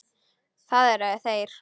Það eru þeir.